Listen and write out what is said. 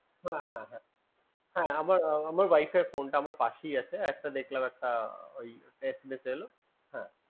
আমার wife এর phone টা আমার পাশেই আছে একটা দেখলাম একটা SMS এলো